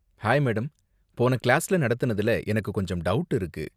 Hi madam, போன கிளாஸ்ல நடத்துனதுல எனக்கு கொஞ்சம் டவுட் இருக்கு.